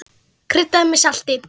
Kryddað með salti.